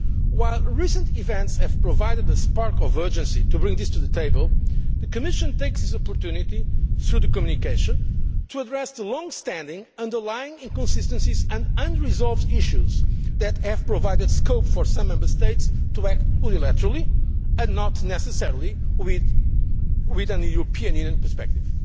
While recent events have provided a spark of urgency in bringing this matter to the table, the Commission is taking this opportunity, through the communication, to address the long standing underlying inconsistencies and unresolved issues that have provided scope for some Member States to act unilaterally and not necessarily with a European Union perspective.